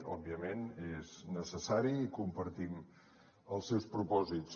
òbviament és necessari i compartim els seus propòsits